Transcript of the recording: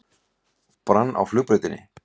Brann á flugbrautinni